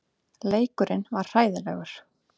Leikurinn var hræðilegur.